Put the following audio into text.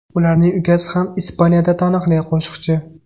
Ularning ukasi ham Ispaniyada taniqli qo‘shiqchi.